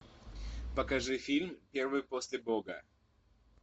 покажи фильм первый после бога